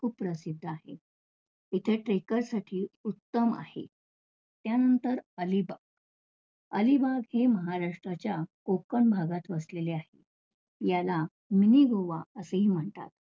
खूप प्रसिद्ध आहे. इथे takers साठी उत्तम आहे. त्यानंतर अलिबाग, अलिबाग हे महाराष्ट्राच्या कोकण भागात वसलेले आहे, याला mini गोवा असेही म्हणतात.